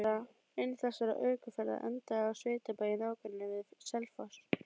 Ein þessara ökuferða endaði á sveitabæ í nágrenni við Selfoss.